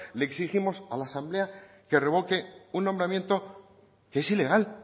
le exigimos a la asamblea que revoque un nombramiento que es ilegal